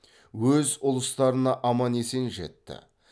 өз ұлыстарына аман есен жетті